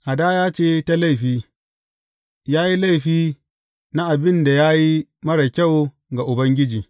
Hadaya ce ta laifi, ya yi laifi na abin da ya yi marar kyau ga Ubangiji.